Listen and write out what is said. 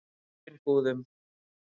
Hraunbúðum